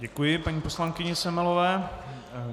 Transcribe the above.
Děkuji paní poslankyni Semelové.